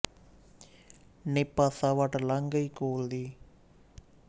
ਨੀ ਪਾਸਾ ਵੱਟ ਕੇ ਲੰਘ ਗਈ ਕੋਲ ਦੀ